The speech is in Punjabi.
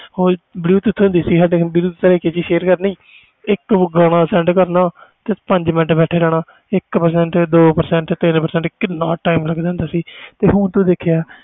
bluetooth ਹੁੰਦੀ ਸੀ ਓਹਦੇ ਨਾਲ sand ਕਰਨੀ ਇਕ ਗਾਣਾ ਕਰਨਾ ਤੇ ਪੰਜ ਮਿੰਟ ਬੈਠੇ ਰਹਿਣਾ ਇਕ Percent ਦੋ Percent ਕਿੰਨਾ ਟੀਮ ਲੱਗ ਦਾ ਹੁੰਦਾ ਸੀ